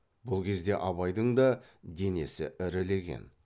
бұл кезде абайдың да денесі ірілеген